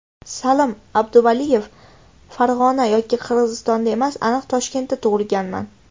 Salim Abduvaliyev: Farg‘ona yoki Qirg‘izistonda emas, aniq Toshkentda tug‘ilganman.